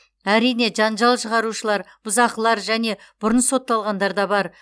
әрине жанжал шығарушылар бұзақылар және бұрын сотталғандар да бар